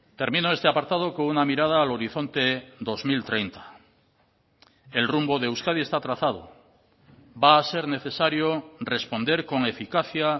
termino este apartado con una mirada al horizonte dos mil treinta el rumbo de euskadi esta trazado va a ser necesario responder con eficacia